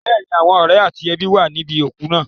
Bẹ́ẹ̀ni, àwọn ọ̀rẹ́ àti ẹbí wà níbi òkú náà.